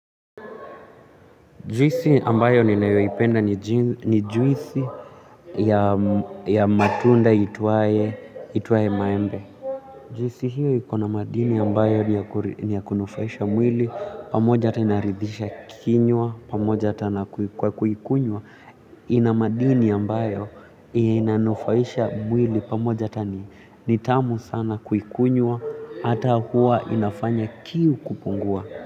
Juisi ambayo ninayoipenda ni juisi ya matunda ituaye maembe. Juisi hiyo ikona madini ambayo ni yakunufaisha mwili. Pamoja ata inaridhisha kinywa pamoja ata kwa kuikunywa. Ina madini ambayo inanufaisha mwili, pamoja ata ni tamu sana kuikunywa. Ata huwa inafanya kiu kupungua.